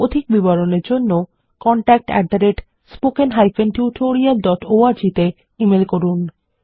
অধিক বিবরণের জন্য contactspoken tutorialorg তে ইমেল করুন